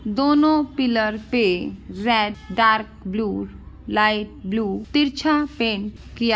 दोनों पिलर पे red dark blue light blue तिरछा पेंट किया--